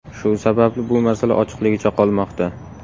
Shu sababli bu masala ochiqligicha qolmoqda.